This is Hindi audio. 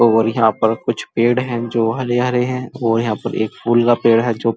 और यहाँ पर कुछ पेड़ हैं जो हरे-हरे हैं और यह पर फूल का पेड़ है जो --